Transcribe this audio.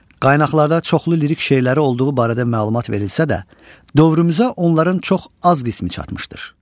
Qaynaqlarda çoxlu lirik şeirləri olduğu barədə məlumat verilsə də, dövrümüzə onların çox az qismi çatmışdır.